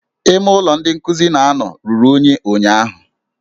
Ime ụlọ ebe ndị nkuzi na-anọ ruru unyi ụnyụahụ